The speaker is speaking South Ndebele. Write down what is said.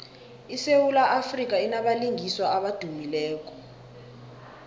isewula afrika inabalingiswa abadumileko